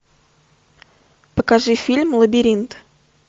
покажи фильм лабиринт